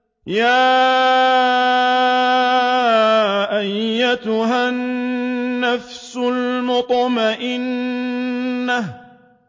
يَا أَيَّتُهَا النَّفْسُ الْمُطْمَئِنَّةُ